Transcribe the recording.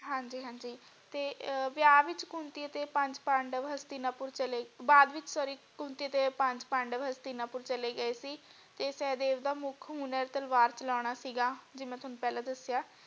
ਹਾਂਜੀ ਹਾਂਜੀ ਤੇ ਵਿਆਹ ਵਿਚ ਕੁੰਤੀ ਅਤੇ ਪੰਚ ਪਾਂਡਵ ਹਸਤਿਨਾਪੁਰ ਚਲੇ ਬਾਦ ਵਿਚ sorry ਕੁੰਤੀ ਅਤੇ ਪੰਜ ਪਾਂਡਵ ਹਸਤਿਨਾਪੁਰ ਚਲੇ ਗਏ ਸੀ ਤੇ ਸਹਿਦੇਵ ਦਾ ਮੁਖ ਹੁਨਰ ਤਲਵਾਰ ਚਲਾਣਾ ਸੀਗਾ ਜਿਵੇਂ ਮੈਂ ਤੁਹਾਨੂੰ ਪਹਿਲਾ ਦਸਿਆ।